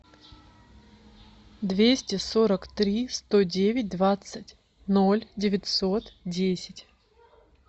двести сорок три сто девять двадцать ноль девятьсот десять